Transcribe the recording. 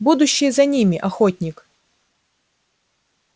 будущее за ними охотник